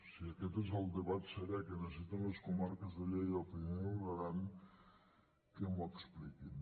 si aquest és el debat serè que necessiten les comarques de lleida el pirineu i l’aran que m’ho expliquin